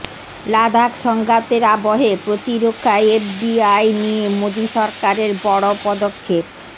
লাদাখ সংঘাতের আবহে প্রতিরক্ষায় এফডিআই নিয়ে মোদী সরকারের বড় পদক্ষেপ